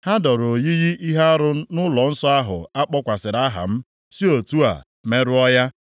Ha doro oyiyi ihe arụ nʼụlọnsọ ahụ a kpọkwasịrị aha m, si otu a merụọ ya.